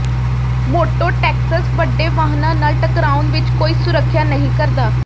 mototaxis ਵੱਡੇ ਵਾਹਨਾਂ ਨਾਲ ਟਕਰਾਉਣ ਵਿਚ ਕੋਈ ਸੁਰੱਖਿਆ ਨਹੀਂ ਕਰਦਾ